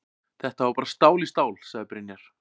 Þetta var bara stál í stál, sagði Brynjar.